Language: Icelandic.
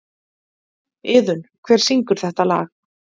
Iðunn, hver syngur þetta lag?